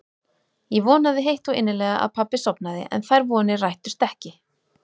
Ég vonaði heitt og innilega að pabbi sofnaði en þær vonir rættust ekki.